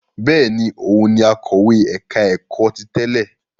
Bẹ́ẹ̀ ni, òun ni akọ̀wé ẹ̀ka-ẹ̀kọ́ ti tẹ́lẹ̀.